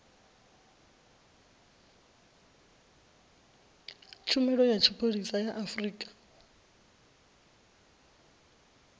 tshumelo ya tshipholisa ya afrika